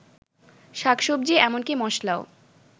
শাকসবজি এমনকি মসলাও